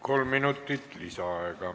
Kolm minutit lisaaega.